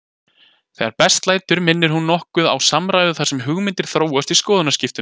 Þegar best lætur minnir hún nokkuð á samræðu þar sem hugmyndir þróast í skoðanaskiptum.